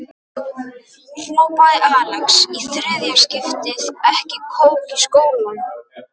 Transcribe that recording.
hrópaði Axel, í þriðja skipti, ekki kók í skólann.